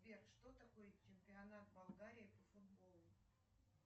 сбер что такое чемпионат болгарии по футболу